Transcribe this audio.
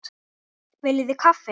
Viljiði kaffi?